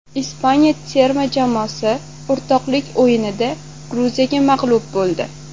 Ispaniya terma jamoasi o‘rtoqlik o‘yinida Gruziyaga mag‘lub bo‘ldi .